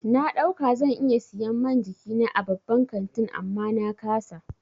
Na ɗauka zan iya siyan man jikina a babban kantin amma na ƙasa.